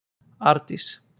Ardís